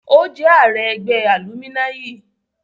Ó jẹ́ ààrẹ ẹgbẹ́ alúminayi